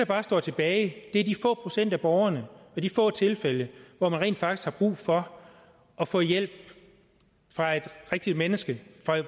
bare står tilbage er de få procent af borgerne de få tilfælde hvor man rent faktisk har brug for at få hjælp fra et rigtigt menneske